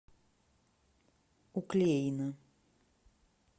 уклеина